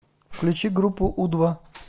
включи группу у два